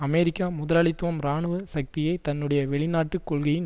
அமெரிக்க முதலாளித்துவம் இராணுவ சக்தியைத் தன்னுடைய வெளிநாட்டு கொள்கையின்